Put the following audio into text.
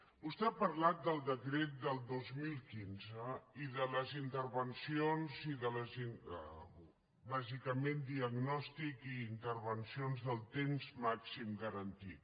vostè ha parlat del decret del dos mil quinze i de les intervencions bàsicament diagnòstic i intervencions del temps màxim garantit